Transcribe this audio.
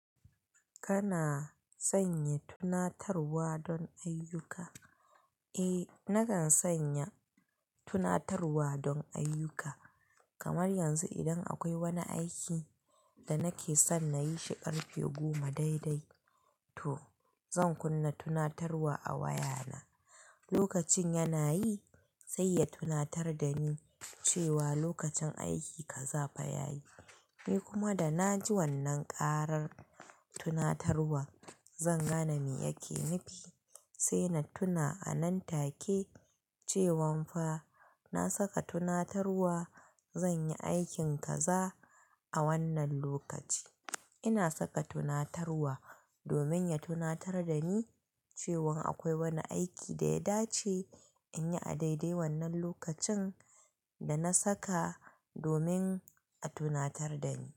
Kana sanya tunatarwa don ayyuka? Eh, nakan sanya tunatarwa don ayyuka. Kamar yanzu idan akwai wani aiki da nake son na yi shi karfe goma daidai, to zan kunna tunatarwa a wayana. Lokacin yana yi sai ya tunatar da ni cewa lokacin aiki kaza fa ya yi. Ni kuma da na ji wannan karar tunatarwa, zan gane me yake nufi sai na tuna a nan take cewan fa na saka tunatarwa zan yi aikin kaza a wannan lokaci. Ina saka tunatarwa domin ya tunatar da ni cewan akwai wani aiki da ya dace in yi a daidai wannan lokacin da na saka domin a tunatar da ni.